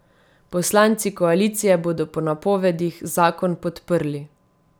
Poslanci koalicije bodo po napovedih zakon podprli.